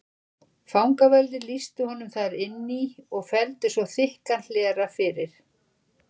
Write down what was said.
Fangaverðir lýstu honum þar inn í og felldu svo þykkan hlera fyrir.